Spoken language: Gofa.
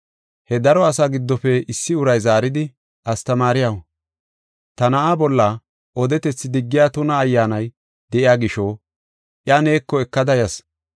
He daro asa giddofe issi uray zaaridi, “Astamaariyaw, ta na7aa bolla odetethi diggiya tuna ayyaanay de7iya gisho, iya neeko ekada yas.